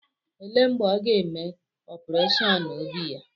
Elee mgbe ọ ga-eme opureshọn obi ya.